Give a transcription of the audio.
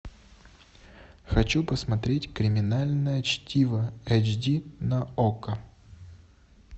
хочу посмотреть криминальное чтиво эйч ди на окко